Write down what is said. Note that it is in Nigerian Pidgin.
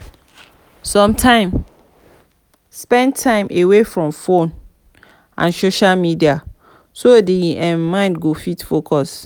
sometimes spend time away from phone and social media so di um mind go fit focus